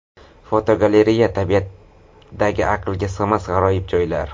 Fotogalereya: Tabiatdagi aqlga sig‘mas g‘aroyib joylar.